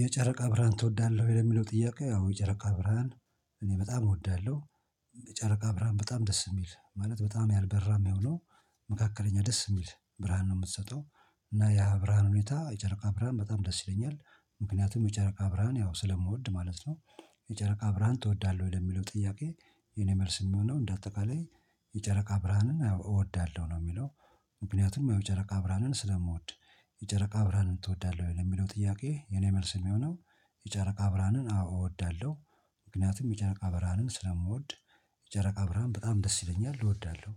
የጨረቃ ብርሃን ትወዳለህ ወይ? ለሚለው ጥያቄ አው የጨረቃ ብርሃን እኔ በጣም እወዳለሁ። የጨረቃ ብርሃን በጣም ደስ የሚል ማለት በጣም ያልበራም ሆኖ መካከለኛ ደስ የሚል ብርሃን ነው የምትሰጠው። እና ያ ብርሃን ሁኔታ የጨረቃ ብርሃን በጣም ደስ ይለኛል። ምክንያቱም የጨረቃ ብርሃን ያው ስለምወድ ማለት ነው። የጨረቃ ብርሃን ትወዳለህ ወደሚለው ጥያቄ? የኔ መልስ የሚሆነው እንደ አጠቃላይ የጨረቃ ብርሃንን እወዳለሁ ነው የሚለው። ምክንያቱም የጨረቃ ብርሃንን ስለምወድ። የጨረቃ ብርሃንን ትወዳለህ ወይ ለሚለው ጥያቄ? የኔ መልስ የሚሆነው የጨረቃ ብርሃንን አዎ እወዳለሁ። ምክንያቱም የጨረቃ ብርሃንን ስለምወድ። የጨረቃ ብርሃን በጣም ደስ ይለኛል እወዳለሁ።